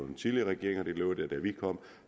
den tidligere regering og det lå der da vi kom